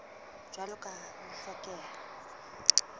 jwalo ka ha ho hlokeha